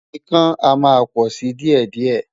Ìkan a máa pò si díè díè.